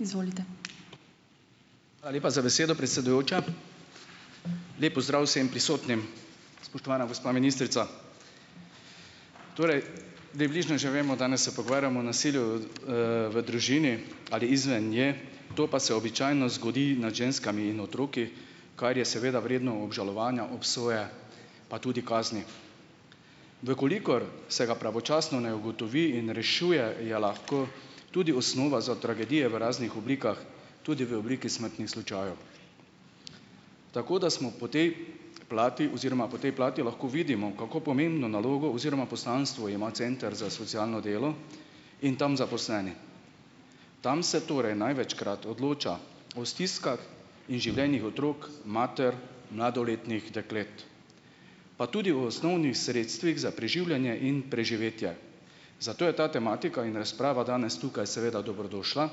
Hvala lepa za besedo, predsedujoča. Lep pozdrav vsem prisotnim! Spoštovana gospa ministrica. Torej, približno že vemo, danes se pogovarjamo nasilju, v družini ali izven nje, to pa se običajno zgodi nad ženskami in otroki, kar je seveda vredno obžalovanja, obsoje pa tudi kazni. V kolikor se ga pravočasno ne ugotovi in rešuje, je lahko tudi osnova za tragedije v raznih oblikah tudi v obliki smrtnih slučajev. Tako da smo po tej plati oziroma po tej plati lahko vidimo, kako pomembno nalogo oziroma poslanstvo ima center za socialno delo in tam zaposleni. Tam se torej največkrat odloča o stiskah in življenjih otrok, mater, mladoletnih deklet, pa tudi o osnovnih sredstvih za preživljanje in preživetje. Zato je ta tematika in razprava danes tukaj seveda dobrodošla.